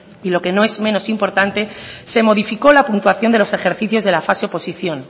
y lo que no es menos importante se modificó la puntuación de los ejercicios de la fase oposición